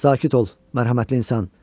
Sakit ol, mərhəmətli insan.